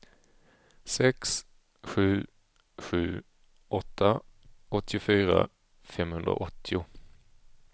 sex sju sju åtta åttiofyra femhundraåttio